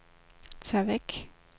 tag væk